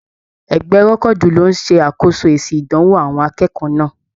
Egbẹ́ rẹ́kọ́du lló n ṣe akoso èsì ìdánwò àwọn akẹ́kọ̀ọ́ náà.